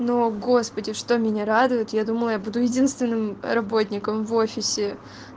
но господи что меня радует я думала я буду единственным работником в офисе